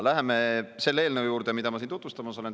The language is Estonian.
Läheme selle eelnõu juurde, mida ma siin tutvustamas olen.